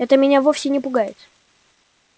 это меня вовсе не пугает